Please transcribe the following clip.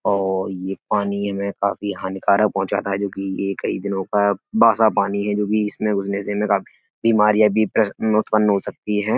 और ये पानी हमें काफी हानिकारक पहुंचाता है जो कि ये कई दिनो का बासा पानी है जो कि इसमें घुसने से इनमें काफ़ी बीमारियां भी उत्पन हो सकती हैं।